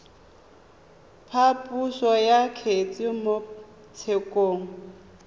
phaposo ya kgetse mo tshekong